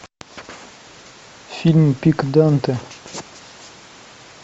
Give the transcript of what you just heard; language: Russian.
фильм пик данте